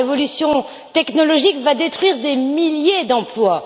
La révolution technologique va détruire des milliers d'emplois.